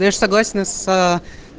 ну я ж согласен с